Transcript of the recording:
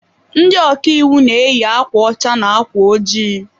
Ndị ọkàiwu na eyi akwa ọcha na ákwà ojii